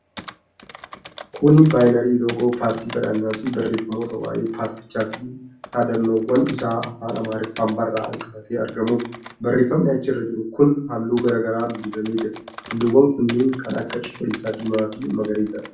Kuni baanarii loogoo paartii badhaadhinaa fi barreeffamoota waa'ee paartichaa fi dhaadannoowwan isaa afaan Amaariffaan barraa'an qabatee argamuudha. Barreefami achi irra jiru kun halluu garaa garaan dibamee jira. Halluuwwan kunneen kan akka cuquliisa, diimaa fi magariisadha.